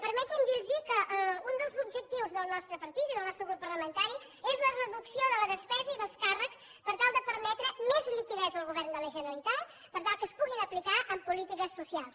permeti’m dir los que un dels objectius del nostre partit i del nostre grup parlamentari és la reducció de la despesa i dels càrrecs per tal de permetre més liquiditat al govern de la generalitat per tal que es puguin aplicar en polítiques socials